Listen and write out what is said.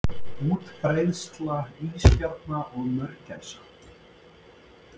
útbreiðsla ísbjarna og mörgæsa